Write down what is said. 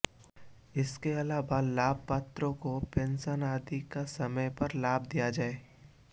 इसके अलावा लाभपात्रों को पेंशन आदि का समय पर लाभ दिया जाए